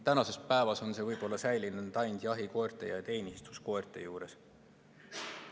Tänasel päeval on see võib-olla säilinud ainult jahikoerte ja teenistuskoerte pidamisel.